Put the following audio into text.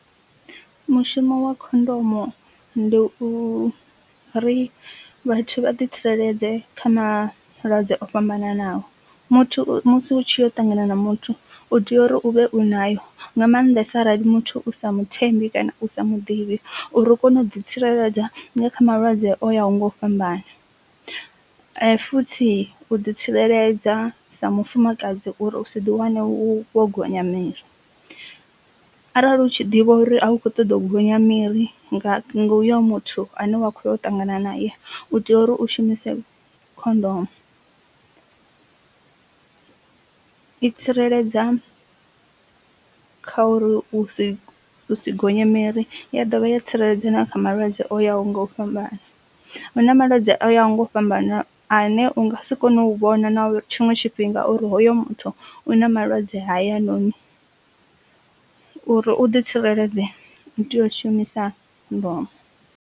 Mushumo wa khondomo ndi u ri vhathu vha ḓi tsireledza kha malwadze o fhambananaho, muthu musi u tshi yau ṱangana na muthu u tea uri u vhe u nayo nga maanḓesa arali muthu u sa muthembi kana u sa muḓivhi uri u kone u ḓi tsireledza kha malwadze o ya ho nga u fhambana, futhi u ḓi tsireledza sa mufumakadzi uri u si ḓi wane wo gonya miri. Arali u tshi ḓivha uri a u kho ṱoḓa u gonya miri nga uyo muthu ane wa khoya u ṱangana na ya u tea uri u shumise khondomu. I tsireledza kha uri u si gonyae miri ya dovha ya tsireledza kha malwadze o ya ho nga u fhambana hu na malwadze o yaho nga u fhambana a ne u nga si kone u vhona na tshiṅwe tshifhinga uri hoyo muthu u na malwadze hayanoni, uri u ḓi tsireledza ndi tea u shumisa khondomo.